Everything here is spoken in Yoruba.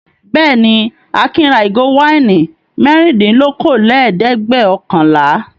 Bẹ́ẹ̀ ni, Akin ra ìgò wáìnì mẹ́rìndínlókòólẹ́ẹ̀dẹ́gbẹ̀ọ̀kànlá.